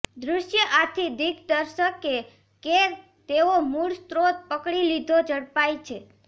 દૃશ્ય આથી દિગ્દર્શકે કે તેઓ મૂળ સ્રોત પકડી લીધો ઝડપાય છે